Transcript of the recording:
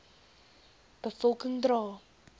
be volking dra